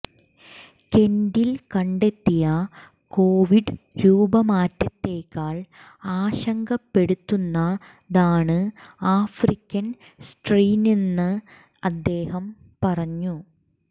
കെന്റിൽ കണ്ടെത്തിയ കോവിഡ് രൂപമാറ്റത്തേക്കാൾ ആശങ്കപ്പെടുത്തുന്നതാണ് ആഫ്രിക്കൻ സ്ട്രെയിനെന്ന് അദ്ദേഹം പറഞ്ഞു